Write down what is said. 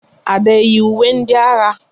Ada eyi ùwé ndị agha?